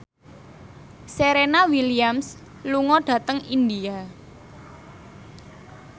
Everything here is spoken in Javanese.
Serena Williams lunga dhateng India